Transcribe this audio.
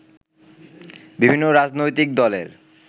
বিভিন্ন রাজনৈতিক দলের